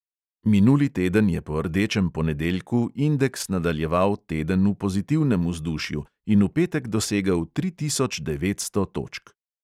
Minuli teden je po rdečem ponedeljku indeks nadaljeval teden v pozitivnem vzdušju in v petek dosegel tri tisoč devetsto točk.